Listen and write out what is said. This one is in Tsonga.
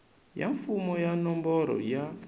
ya mfumo ya nomboro ya